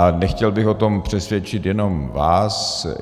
A nechtěl bych o tom přesvědčit jenom vás.